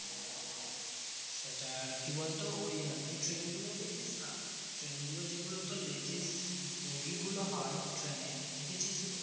সেটা আর কি বলতো ওই তুই train গুলো দেখিস না train গুলো যেগুলো তোর ladies boggy গুলো হয় train এ দেখেছিস তো